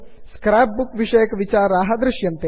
scrap book विषयकविचाराः दृश्यन्ते